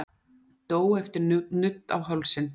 Dó eftir nudd á hálsinn